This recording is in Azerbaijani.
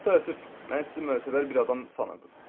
Çox təəssüf, mən sizi mötəbər bir adam sanırdım.